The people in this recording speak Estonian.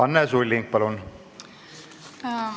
Anne Sulling, palun!